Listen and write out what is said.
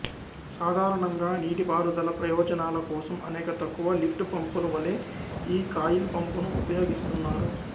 సాధారణంగా నీటిపారుదల ప్రయోజనాల కోసం అనేక తక్కువ లిఫ్ట్ పంపుల వలె ఈ కాయిల్ పంపును ఉపయోగిస్తున్నారు